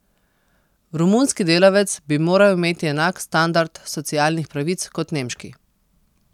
Romunski delavec bi moral imeti enak standard socialnih pravic kot nemški.